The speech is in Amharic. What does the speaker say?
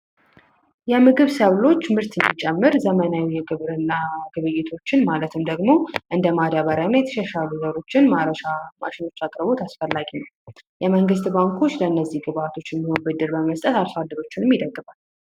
የምግብ ሰብሎች ምርት እንዲጨምር ዘመናዊ የግብርና ግብይቶችን ማለትም ደግሞ እንደ ማዳበሪያ እና የተሻሻሉ ዘሮችን ማረሻ አቅርቦት አስፈላጊ ነው። የመንግሥት ባንኮች ለነዚህ ግብዓቶች የሚሆን ብድር በመስጠት አርሶ አደሮችን ይደግፋል።